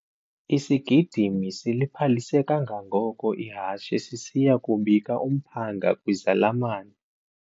Isigidimi siliphalise kangangoko ihashe sisiya kubika umphanga kwizalamane.